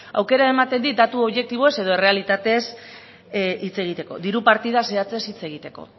aukera ematen dit datu objektiboz edo errealitatez hitz egiteko diru partida zehatzez hitz egiteko